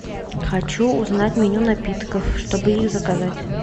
хочу узнать меню напитков чтобы их заказать